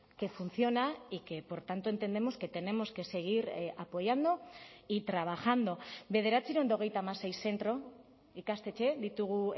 que funciona y que por tanto entendemos que tenemos que seguir apoyando y trabajando bederatziehun eta hogeita hamasei zentro ikastetxe ditugu